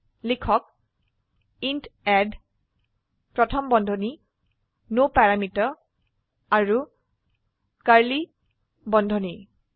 সেয়ে লিখক int add প্ৰথম বন্ধনী ন পেৰামিটাৰ আৰু কাৰ্ড়লী বন্ধনী